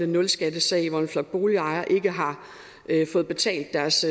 nulskattesag hvor en flok boligejere ikke har fået betalt deres